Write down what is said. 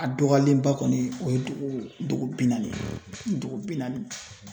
A dɔgɔyalenba kɔni o ye dugu bi naani ye dugu bi naani.